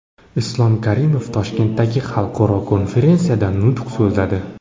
Islom Karimov Toshkentdagi xalqaro konferensiyada nutq so‘zladi.